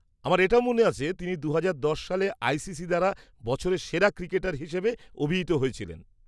আমার এটাও মনে আছে তিনি দু'হাজার দশ সালে আইসিসি দ্বারা 'বছরের সেরা ক্রিকেটার' হিসেবে অভিহিত হয়েছিলেন।